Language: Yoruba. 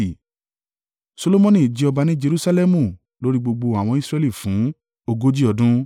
Solomoni jẹ ọba ní Jerusalẹmu lórí gbogbo àwọn Israẹli fún ogójì ọdún